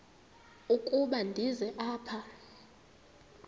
ukuba ndize apha